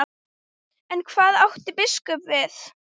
En hvað átti biskup við?